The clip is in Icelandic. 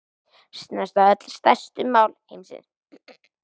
Snerta öll stærstu mál heimsins